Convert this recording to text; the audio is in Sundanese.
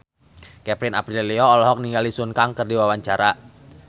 Kevin Aprilio olohok ningali Sun Kang keur diwawancara